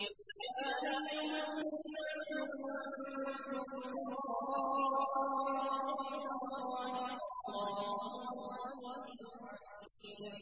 ۞ يَا أَيُّهَا النَّاسُ أَنتُمُ الْفُقَرَاءُ إِلَى اللَّهِ ۖ وَاللَّهُ هُوَ الْغَنِيُّ الْحَمِيدُ